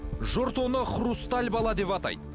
жұрт оны хрусталь бала деп атайды